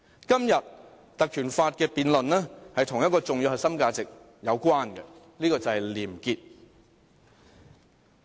今天關於《條例》的辯論跟一個重要核心價值有關，這就是廉潔。